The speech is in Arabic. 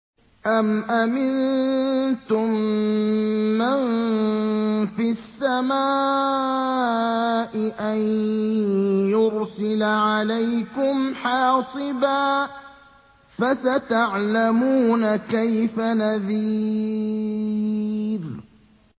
أَمْ أَمِنتُم مَّن فِي السَّمَاءِ أَن يُرْسِلَ عَلَيْكُمْ حَاصِبًا ۖ فَسَتَعْلَمُونَ كَيْفَ نَذِيرِ